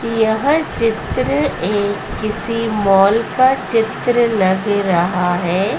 यह चित्र एक किसी माल का चित्र लग रहा है।